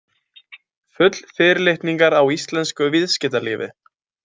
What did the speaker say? Full fyrirlitningar á íslensku viðskiptalífi.